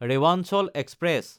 Rewanchal express